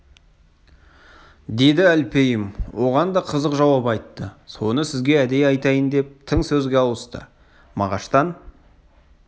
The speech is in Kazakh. деді әлпейім оған да қызық жауап айтты соны сізге әдейі айтайын деп тың сөзге ауысты мағаштан